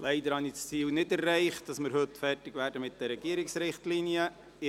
Leider habe ich das Ziel nicht erreicht, heute mit den Regierungsrichtlinien fertigzuwerden.